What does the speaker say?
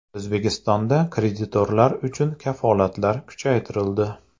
O‘zbekistonda kreditorlar uchun kafolatlar kuchaytirildi.